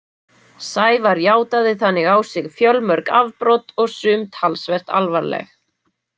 Sævar játaði þannig á sig fjölmörg afbrot og sum talsvert alvarleg.